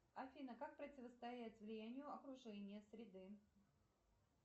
афина как противостоять влиянию окружения среды